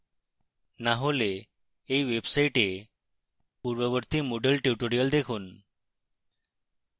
না হলে এই website পূর্ববর্তী moodle tutorials দেখুন